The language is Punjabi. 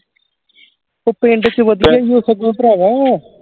ਉ ਪਿੰਡ ਚ ਵਧੀਆ ਹੀ ਆ ਸਗੋਂ ਭਰਾਵਾ